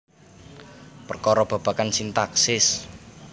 Perkara babagan sintaksis